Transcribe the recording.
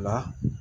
La